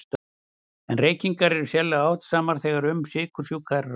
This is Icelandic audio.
En reykingar eru sérlega áhættusamar þegar um sykursjúka er að ræða.